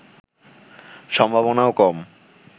সম্ভাবনাও কম